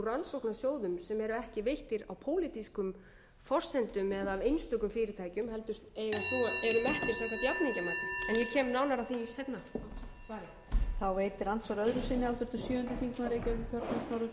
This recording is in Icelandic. rannsóknarsjóðum sem eru ekki veittir á pólitískum forsendum eða af einstökum fyrirtækjum heldur eiga eru metnar samkvæmt jafningjamati en ég kem nánar að því í seinna svari